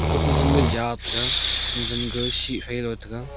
ko chen chen ga ja taiga kon jan ga shih phai Jo taiga.